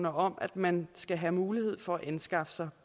om at man skal have mulighed for at anskaffe sig